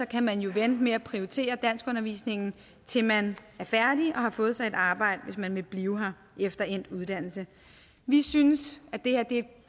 kan man jo vente med at prioritere danskundervisningen til man er færdig og har fået sig et arbejde hvis man vil blive her efter endt uddannelse vi synes at det her er et